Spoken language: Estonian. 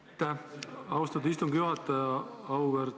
Aitäh, austatud istungi juhataja!